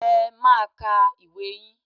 Ẹ máa ka ìwé yín